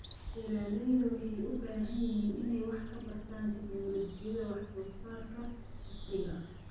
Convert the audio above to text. Beeralayda waxay u baahan yihiin inay wax ka bartaan tignoolajiyada wax soo saarka casriga ah.